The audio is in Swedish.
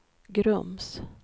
Grums